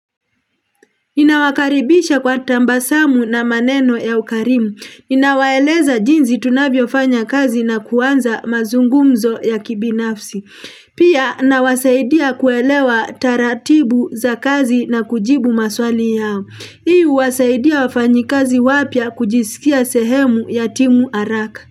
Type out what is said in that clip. Inawakaribisha kwa tabasamu na maneno ya ukarimu. Inawaeleza jinzi tunabiofanya kazi na kuanza mazungumzo ya kibinafsi. Pia na wasaidia kuelewa taratibu za kazi na kujibu maswali yao. Hii huwasaidia wafanyi kazi wapya kujisikia sehemu ya timu haraka.